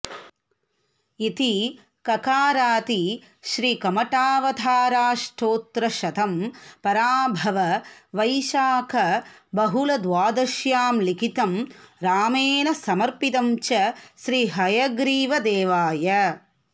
इति ककारादि श्री कमठावताराष्टोत्तरशतम् पराभव वैशाख बहुलद्वादश्यां लिखितं रामेण समर्पितं च श्री हयग्रीवदेवाय